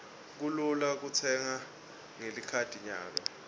kulula kutsenga ngelikhadi nyalo